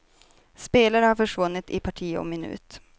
Spelare har försvunnit i parti och minut.